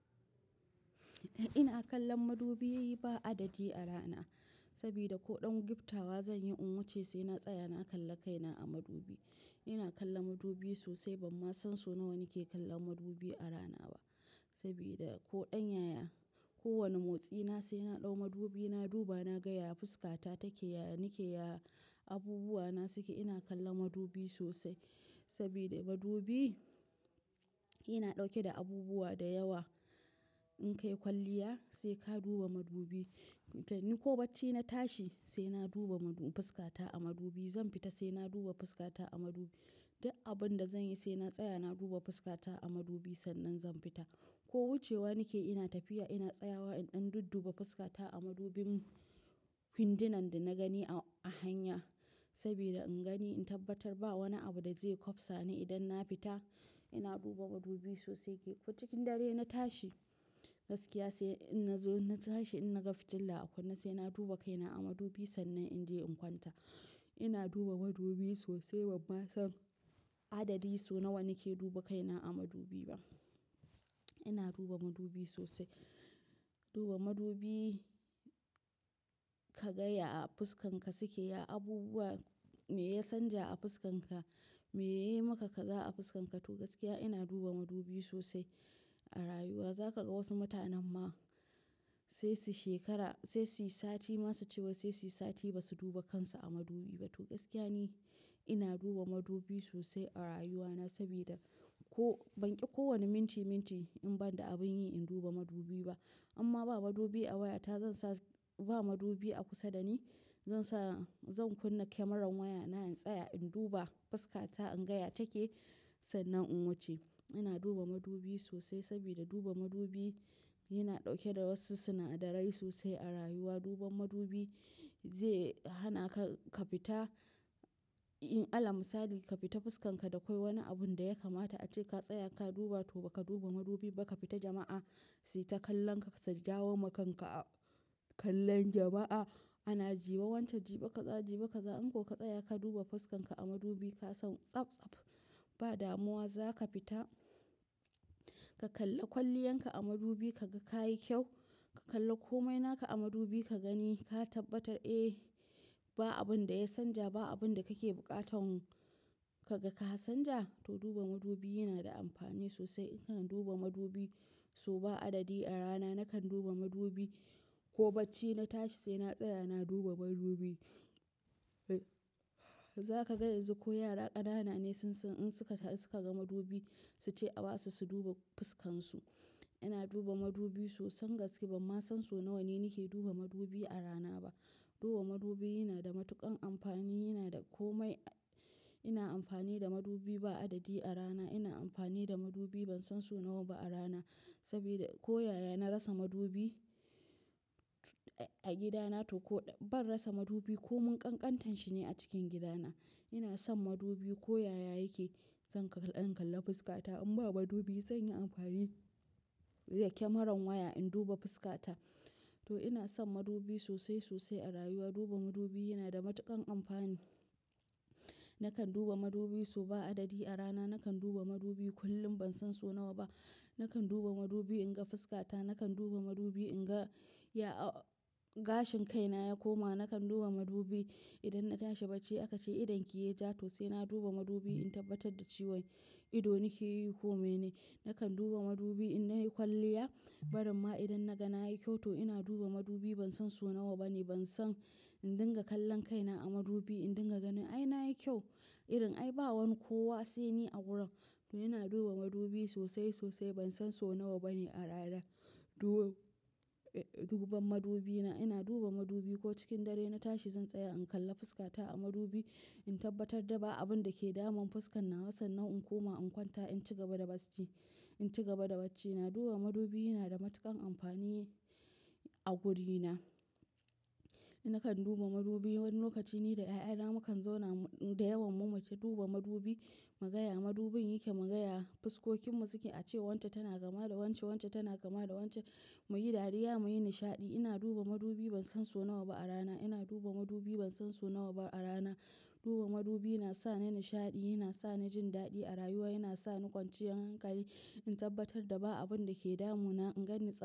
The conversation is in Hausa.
Ina kallon madubi ba adadi a rana. Sabida ko ɗan giftawa zanyi in wace sai na tsaya na kalla kaina a madubi. Ina kalla madubi sosai bamma san sau nawa nike kallon madubi a rana ba. Sabida ko ɗan yaya, ko wani motsi na sai na ɗau madubi na duba na gaya fuskata take yaya nike ya abubuwa na suke ina kalla madubi sosai. Sabida madubi, ina ɗauke da abubuwa da yawa in kai kwalliya sai ka duba madubi. Ko bacci na tashi sai na duba madu-- fuskata a madubi. Zan fita sai na duba fuskata a madubi. Duk abun da zanyi sai na tsaya na duba fuskata a madubi sannan zan fita. Ko wucewa nike ina tafiya ina tsayawa in ɗan dudduba fuskata a madubin windunan da na gani a hanya. Sabida in gani in tabbatar ba wani abu da zai kwabsa ni idan na fita, ina duba madubi sosai kai. Ko cikin dare na tashi gaskiya sai in na ja na tashi in naga fitila akunne sai na duba kaina a madubi sannan in je in kwanta. Ina duba madubi sosai bamma son adadi so nawa nike duba kaina a madubi ba. Ina duba madubi sosai. Duba madubi ka ga yaya fuskanka suke ya abubuwa me ya canja a fuskanka, me yayi maka kaza a fuskanka. Toh gaskiya ina duba madubi sosai a rayuwa. Zaka ga wasu mutanan ma sai su shekara-- sai suyi sati ma su ce wai sai suyi sati ba su duba kansu a madubi ba. To gaskiya ni ina duba madubi sosai a rayuwana sabida ko ban ki kowane minti minti in banda abin yi in duba madubi ba. Amma ba madubi a wayata zansa, ba madubi a kusa dani, zansa zan kunna kamarar waya na in tsaya in duba fuskata in gaya take, sannan in wuce. Ina duba madubi sosai sabida duba madubi yana ɗauke da wasu sana'darai sosai a rayuwa. Duban madubi zai hana ka, ka fita in alal misali ka fita fuskanka da kwai wani abun da ya kamata ace ka tsaya ka duba toh ba ka duba madubi ba ka fita jama'a sayi ta kallon ka su jawo ma kanka kallon jama'a. Ana ji wai wance jibe kaza, jibe kaza. In ko ka tsaya ka duba fuskanka a madubi ka san tsaf tsaf ba damuwa za ka fita. Ka kalla kwalliyanka a madubi ka ga ka yi kyau. Ka kalla komai na ka a madubi ka gani ka tabbatar ba abun da ya sanja ba, abun da kake bukatan ka ga ka sanja. Toh duba madubi yana da amfani sosai. Nakan duba madubi so ba adadi a rana nakan duba madubi. Kobacci na tashi sai na tsaya na duba madubi. Zaka ga yanzu ko yara ƙanana ne sun san in suka, suka ga madubi su ce a basu su duba fuskansu. Ina duba madubi sosai gaske bamma son so nawa ne nike duba madubi a rana ba. Duba madubi yana da matuƙan amfani yana da komai. Ina amfani da madubi ba adadi a rana. Ina amfani da madubi ban son so nawa ba a rana. Sabida ko yaya na rasa madubi a gida na toh ko ban rasa madubi ko mun ƙanƙantan shi ne a cikin gida na. Ina son madubi ko yaya yake zan ka in kalla fuskata in ba madubi zan yi amfani da kamarar waya in duba fuskata. Toh ina son madubi sosai sosai a rayuwa. Duba madubi yana da matuƙan amfani. Nakan duba madubi so ba adadi a rana. Nakan duba madubi kullum ban son so nawa ba. Nakan duba madubi in ga fuskata. Nakan duba madubi in ga yaya gashin kaina ya koma. Nakan duba madubi idan na tashi bacci aka ce idon ki yayi ja to sai na duba madubi in tabbatar da cewan idon nike yi komai ne. Nakan duba madubi in na yi kwalliya. Baramma idan na ga na yi kyau toh ina duba madubi ban son so nawa ba ne ban san in dinga kallon kaina a madubi in dinga ganin ai na yi kyau, irin ai ba wani kowa sai ni a wurin. Toh ina duba madubi sosai sosai ban son so nawa bane a rana. Duba duban madubi na. Ina duba madubi ko cikin dare na tashi zan tsaya in kalla fuskata a madubi in tabbatar da ba abun da ke damun fuskar nawa sannan in koma in kwanta in ci gaba da bacci, in ci gaba da bacci. Na duba madubi yana da matuƙan amfani a guri na. Nakan duba madubi wani lokaci ni da ƴaƴana mu kan zauna da yawan mu mace duba madubi. Mu gaya madubin yake, mu gaya fuskokin mu suke ace wance tana kama da wance, wance tana kama da wance. Muyi dariya muyi nishaɗi. Ina duba madubi ban son so nawa ba a rana. Ina duba madubi ban son so nawa ba a rana. Duba madubi yana sa ni nishaɗi, yana sa ni jin daɗi a rayuwa, yana sa ni kwanciyar hankali in tabbatar da ba abun da ke damu na, in ganni tsaf.